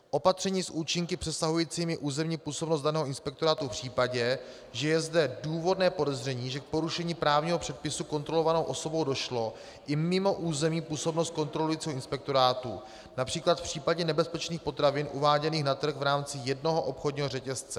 Opatření s účinky přesahujícími územní působnost danou inspektorátu v případě, že je zde důvodné podezření, že k porušení právního předpisu kontrolovanou osobou došlo i mimo územní působnost kontrolujícího inspektorátu, například v případě nebezpečných potravin uváděných na trh v rámci jednoho obchodního řetězce.